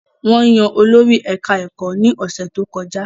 Wọ́n yan olórí ẹ̀ká ẹ̀kọ́ ní ọ̀sẹ̀ tó kọjá